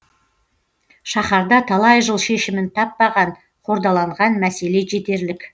шаһарда талай жыл шешімін таппаған қордаланған мәселе жетерлік